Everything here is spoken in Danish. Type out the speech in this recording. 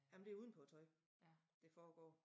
Jamen det uden på æ tøj det foregår